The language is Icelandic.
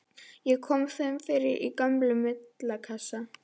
Ég kom þeim fyrir í gömlum vindlakassa.